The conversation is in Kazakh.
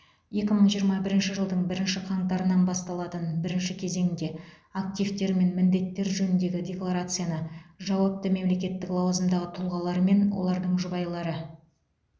екі мың жиырма бірінші жылдың бірінші қаңтарынан басталатын бірінші кезеңде активтер мен міндеттер жөніндегі декларацияны жауапты мемлекеттік лауазымдағы тұлғалармен олардың жұбайлары